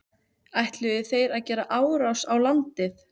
Ætluðu þeir að gera árás á landið?